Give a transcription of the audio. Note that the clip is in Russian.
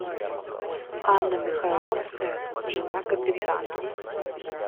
анна михайловская жена капитана